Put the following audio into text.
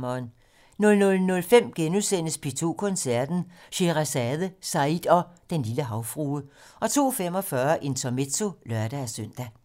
00:05: P2 Koncerten - Sheherazade, Said og Den Lille Havfrue * 02:45: Intermezzo (lør-søn)